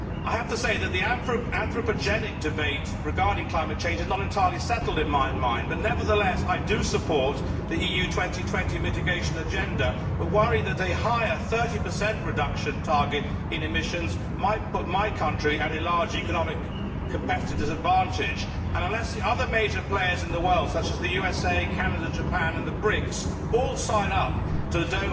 I have to say that the anthropogenic debate regarding climate change is not entirely settled in my mind, but nevertheless I do support the EU 2020 mitigation agenda, although I worry that the higher, 30, reduction target for emissions might put my country's economy at a severe competitive disadvantage, and unless the other major players in the world, such as the USA, Canada, Japan and the BRICs, all sign up at the